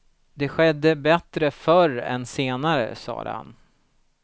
Det skedde bättre förr än senare, sade han.